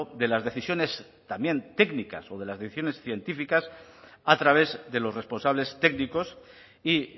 de las decisiones también técnicas o de las decisiones científicas a través de los responsables técnicos y